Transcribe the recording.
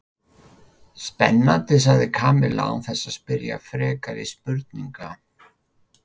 Spennandi sagði Kamilla án þess að spyrja frekari spurninga.